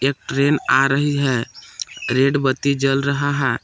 Train आ रही है रेड बत्ती जल रहा है।